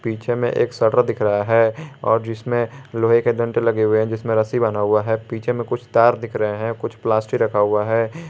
पीछे में एक शटर दिख रहा है और जिसमें लोहे के डंडे लगे हुए हैं जिसमें रस्सी बंधा हुआ है पीछे में कुछ तार दिख रहे हैं कुछ प्लास्टिक रखा हुआ है।